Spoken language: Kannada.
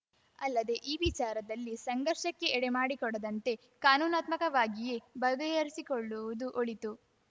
ಅಲ್ಲದೆ ಈ ವಿಚಾರದಲ್ಲಿ ಸಂಘರ್ಷಕ್ಕೆ ಎಡೆಮಾಡಿಕೊಡದಂತೆ ಕಾನೂನಾತ್ಮಕವಾಗಿಯೇ ಬಗೆಹರಿಸಿಕೊಳ್ಳುವುದು ಒಳಿತು